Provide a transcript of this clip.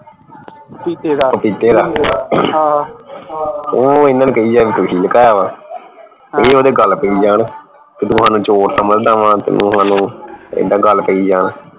ਪਪੀਤੇ ਦਾ ਉਹ ਇਹਨਾਂ ਨੂੰ ਕਹਿ ਜਾਵੇ ਵੀ ਤੁਸੀਂ ਲੁਕਾਇਆ ਵਾ ਇਹ ਓਹਦੇ ਗੱਲ ਪਈ ਜਾਣ ਤੂੰ ਸਾਨੂੰ ਚੋਰ ਸਮਝਦਾ ਵਾ ਸਾਨੂੰ ਇੱਦਾ ਗੱਲ ਪਈ ਜਾਣ